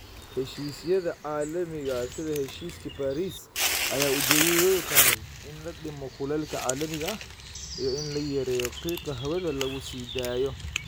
Heshiisyada caalamiga ah sida heshiiskii Paris ayaa ujeedadoodu tahay in la dhimo kulaylka caalamiga ah iyo in la yareeyo qiiqa hawada lagu sii daayo.